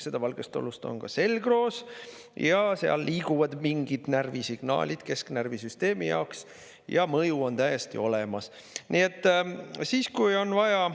Seda valgeollust on ka selgroos ja seal liiguvad mingid närvisignaalid kesknärvisüsteemi jaoks ja mõju on täiesti olemas.